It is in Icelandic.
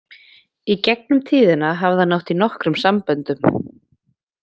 Í gegnum tíðina hafði hann átt í nokkrum samböndum.